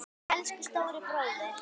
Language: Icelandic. Elsku stóri bróðir.